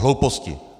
Hlouposti.